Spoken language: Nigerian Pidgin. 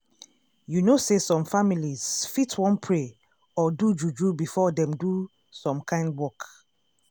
you know say some families fit wan pray or do juju before dem do some kind work.